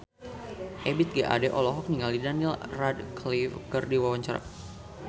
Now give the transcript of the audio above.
Ebith G. Ade olohok ningali Daniel Radcliffe keur diwawancara